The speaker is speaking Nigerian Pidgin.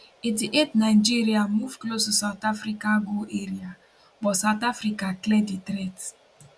88 nigeria move close to south africa goal area but south africa clear di threat